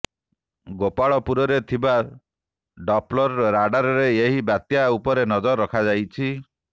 ଗୋପାଳପୁରରେ ଥିବା ଡପଲର ରାଡାରରେ ଏହି ବାତ୍ୟା ଉପରେ ନଜର ରଖାଯାଇଛି